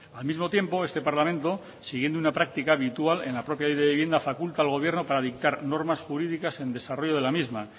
al mismo tiempo este parlamento siguiendo una práctica habitual en la propia ley de vivienda faculta al gobierno para dictar normas jurídicas en desarrollo de la misma